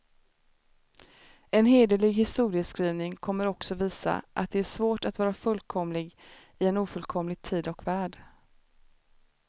En hederlig historieskrivning kommer också visa, att det är svårt att vara fullkomlig i en ofullkomlig tid och värld.